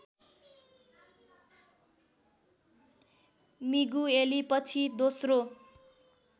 Migueli पछि दोस्रो